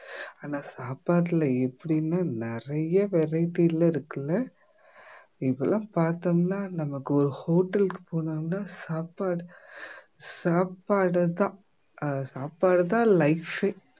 ஆனா சாப்பாட்டுல எப்படின்னு நிறைய variety எல்லாம் இருக்குல்ல இப்பல்லாம் பார்த்தோம்னா நமக்கு ஒரு hotel க்கு போனோம்னா சாப்பாடு சாப்பாடுதான் ஆஹ் சாப்பாடுதான் life ஏ